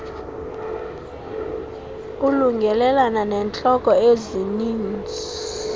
elungelelana neentlobo ezinininzi